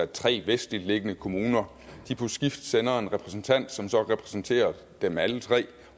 tre vestligt liggende kommuner på skift sender en repræsentant som så kan repræsentere dem alle tre